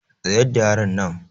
Tsayar da yaronnan.